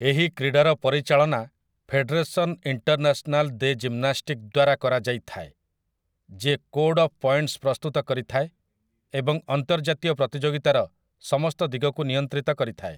ଏହି କ୍ରୀଡ଼ାର ପରିଚାଳନା 'ଫେଡେରେସନ୍ ଇଣ୍ଟର୍ନ୍ୟାସନାଲ୍ ଦେ ଜିମ୍ନାଷ୍ଟିକ୍' ଦ୍ୱାରା କରାଯାଇଥାଏ, ଯିଏ 'କୋଡ଼୍ ଅଫ୍ ପଏଣ୍ଟସ୍' ପ୍ରସ୍ତୁତ କରିଥାଏ ଏବଂ ଅନ୍ତର୍ଜାତୀୟ ପ୍ରତିଯୋଗିତାର ସମସ୍ତ ଦିଗକୁ ନିୟନ୍ତ୍ରିତ କରିଥାଏ ।